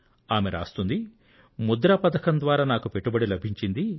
ఆమె రాశారు ముద్రా పథకం ద్వారా నాకు పెట్టుబడి లభించింది